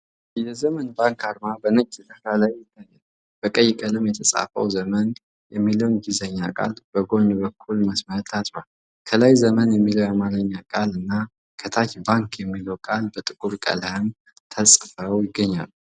የዘመን ባንክ አርማ በነጭ ዳራ ላይ ይታያል። በቀይ ቀለም የተጻፈው "ዘመን" የሚለው የእንግሊዝኛ ቃል በጎን በቀይ መስመር ታጥሯል። ከላይ "ዘመን" የሚለው የአማርኛ ቃል እና ከታች "ባንክ" የሚለው ቃል በጥቁር ቀለም ተጽፈዋል።